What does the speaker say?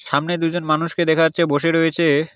সামনে দুজন মানুষকে দেখা যাচ্ছে বসে রয়েছে।